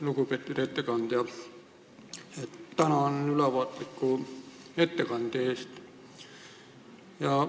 Lugupeetud ettekandja, tänan ülevaatliku ettekande eest!